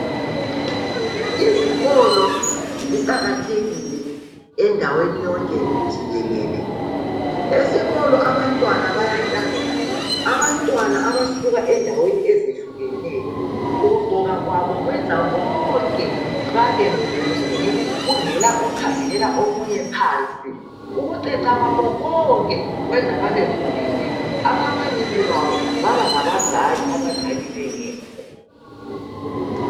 Izikolo ziqakathekile endaweni yonke jikelele esikolo abantwana bayahlangana abantwana abasuka endaweni ezehlukeneyo okuqgoka kwabo kweza bonke babe muli yinye kungekho okhangelela umunye phansi ukuceca kwabo bonke kwenza babe muli yinye ababalisi babo baba ngabazali abazali bengekho